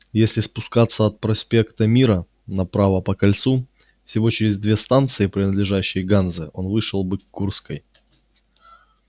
если спускаться от проспекта мира направо по кольцу всего через две станции принадлежащие ганзе он вышел бы к курской